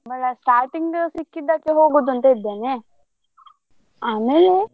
ಸಂಬಳ starting ಸಿಕ್ಕಿದ್ದಕ್ಕೆ ಹೂಗುದಂತಾ ಇದ್ದೇನೆ ಆಮೇಲೆ.